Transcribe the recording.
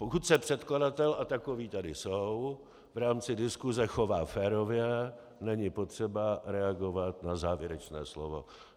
Pokud se předkladatel, a takoví tady jsou, v rámci diskuse chová férově, není potřeba reagovat na závěrečné slovo.